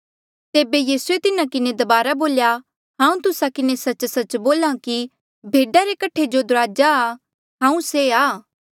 तेबे यीसूए तिन्हा किन्हें दबारा बोल्या हांऊँ तुस्सा किन्हें सच्च सच्च बोल्हा कि भेडा रे कठे दुराजा हांऊँ से आं